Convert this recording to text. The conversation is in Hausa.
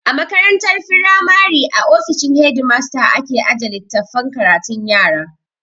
A makarantar firamari a ofishin hedimasta ake aje littafan karatun yara